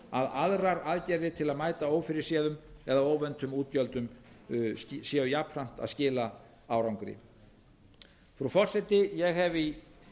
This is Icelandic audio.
að aðrar aðgerðir til að mæta ófyrirséðum eða óvæntum útgjöldum séu jafnframt að skila árangri frú forseti ég hef í